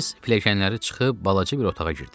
Biz pilləkənləri çıxıb balaca bir otağa girdik.